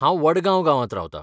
हांव वडगांव गांवांत रावतां .